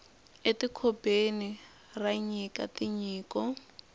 e ti kobeni ra nyika tinyiko